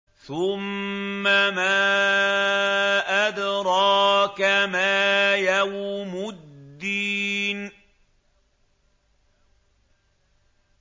ثُمَّ مَا أَدْرَاكَ مَا يَوْمُ الدِّينِ